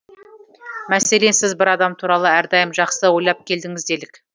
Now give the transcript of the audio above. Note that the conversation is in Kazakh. мәселен сіз бір адам туралы әрдайым жақсы ойлап келдіңіз делік